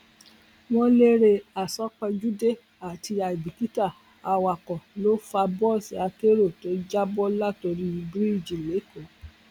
ọṣùn àwọn ẹgbẹ òṣèlú kọwọ bọwé àdéhùn àlàáfíà àdéhùn àlàáfíà pẹlú iléeṣẹ ọlọpàá